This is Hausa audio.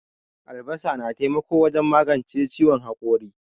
Albasa na taimako wajen maganche ciwon hakori.